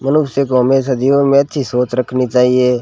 मनुष्य को हमेशा जीवन में अच्छी सोच रखनी चाहिए।